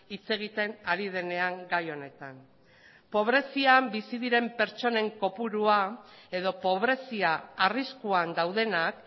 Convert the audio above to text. hitz egiten ari denean gai honetan pobrezian bizi diren pertsonen kopurua edo pobrezia arriskuan daudenak